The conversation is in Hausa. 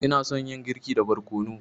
Ina son yin girki da barkono.